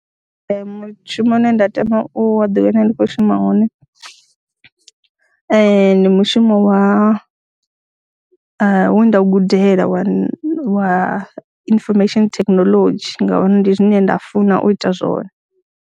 Ee, mushumo une nda tama u ḓiwana ndi khou shuma wone ndi mushumo we nda u gudela wa wa information thekhinolodzhi ngauri ndi zwine nda funa u ita zwone.